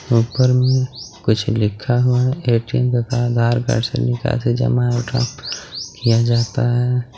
ऊपर में कुछ लिखा हुआ हैं ए_टी_एम या आधार कार्ड से निकाल से किया जाता है.